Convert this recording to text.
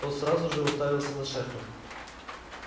тот сразу же уставился на шефа